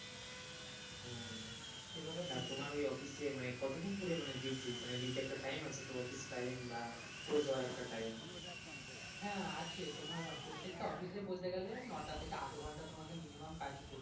তা তোমার ওই office এ মানে কতক্ষণ ধরে মানে duty মানে duty র একটা time আছে তো office time বা close হওয়ার একটা time হ্যাঁ আছে তোমার প্রত্যেকটা office এ বলতে গেলে নটা থেকে আট ঘন্টা তোমাকে minimum কাজ করতে হয়।